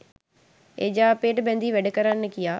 එජාපයට බැඳී වැඩ කරන්න කියා